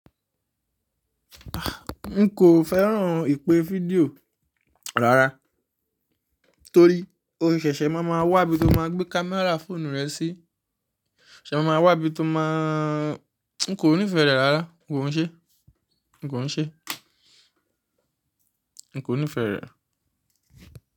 N kò fẹ́ràn ìpè fídíò rárá torí mó ṣẹ̀ṣẹ̀ máa ma wà bí mó máa gbé camera fóònù rẹ sí, ṣé mo máa wà bí tó máà N kò nífẹ̀ẹ́ rẹ̀ rárá, n kò ún ṣe, n kò ún ṣe, n kò nífẹ̀ẹ́ rẹ̀